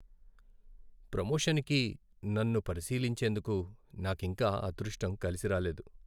ప్రమోషన్కి నన్ను పరిశీలించేందుకు నాకింకా అదృష్టం కలిసి రాలేదు.